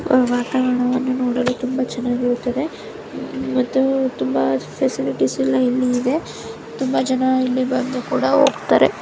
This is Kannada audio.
ವಾತಾವರಣವನ್ನು ನೋಡಲು ತುಂಬಾ ಚೆನ್ನಾಗಿರುತ್ತೆ ಮತ್ತುತುಂಬ ಫೆಸಿಲಿಟಿಸ್ ಎಲ್ಲಇಲ್ಲಿ ಇದೆ ತುಂಬಾ ಜನ ಇಲ್ಲಿ ಬಂದು ಕೂಡ ಹೋಗ್ತಾರೆ.